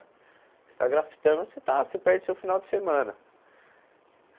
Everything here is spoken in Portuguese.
Você está grafitando, você está você perde o seu final de semana.